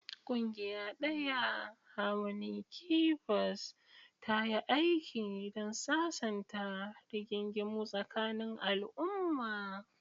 Ƙungiya ɗaya, "Harmony Keepers," ta yi aiki don sasanta rigingimu tsakanin al'umma.